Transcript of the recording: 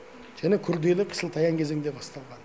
және күрделі қысылтаяң кезеңде басталған